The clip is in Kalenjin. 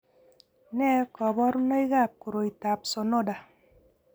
Nee kabarunoikab koroitoab Sonoda?